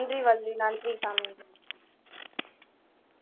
நன்றி வள்ளி நன்றி தாமினி